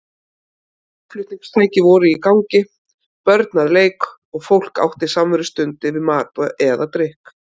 Hljómflutningstæki voru í gangi, börn að leik og fólk átti samverustund yfir mat eða drykk.